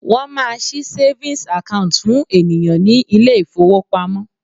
Wọ́n máa ṣí savings account fún ènìyàn ní ilé ìfowópamọ́.